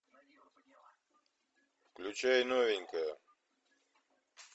включай новенькая